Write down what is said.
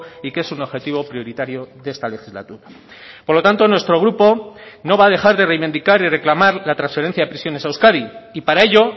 y que es un objetivo prioritario de esta legislatura por lo tanto nuestro grupo no va a dejar de reivindicar y reclamar la transferencia de prisiones a euskadi y para ello